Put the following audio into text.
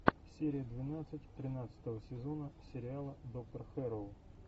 серия двенадцать тринадцатого сезона сериала доктор хэрроу